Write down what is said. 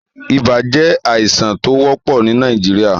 Ibà jẹ́ àìsàn tó wọ́pò ni Nàìjíríà.